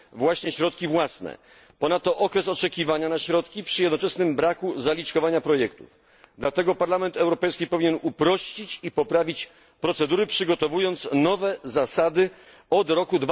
Oprócz tego należy zwrócić uwagę na zbyt długi okres oczekiwania na środki, przy jednoczesnym braku zaliczkowania projektu. Dlatego Parlament Europejski powinien uprościć i poprawić procedury, przygotowując nowe zasady od roku